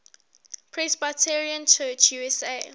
presbyterian church usa